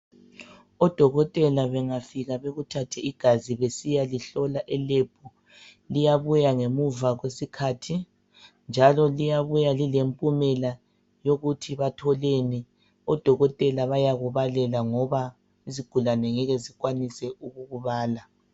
Odokotela bengafika bekuthathe igazi besiyalihlola elebhu liyabuya ngemva kwesikhathi njalo liyabuya lilempumela yokuthi batholeni. Odokotela bayakubalela ngoba izigulane ngeke zikwanise ukukubala.